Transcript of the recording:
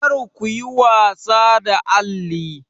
Kar ku yi wasa da alli!